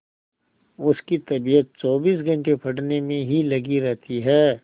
उसकी तबीयत चौबीस घंटे पढ़ने में ही लगी रहती है